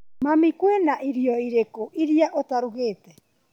Mami, kwĩna irio irĩkũ irĩa ũtarugĩte?